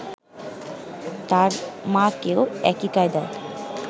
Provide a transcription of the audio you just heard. তার মাকেও একই কায়দায়